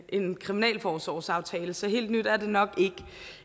en kriminalforsorgsaftale så helt nyt er det nok